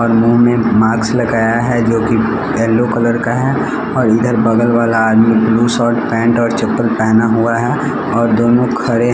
और मुंह में माक्स लगाया है जोकि ऐल्लो कलर का है और इधर बगल वाला आदमी ब्लू सट पैंट और चप्पल पेहना हुआ है और दोनों खड़े --